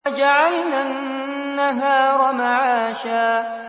وَجَعَلْنَا النَّهَارَ مَعَاشًا